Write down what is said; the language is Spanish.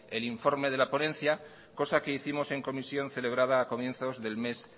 el informe de la ponencia cosa que hicimos en comisión celebrada a comienzos del mes